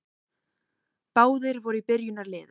Báðir voru í byrjunarliðum.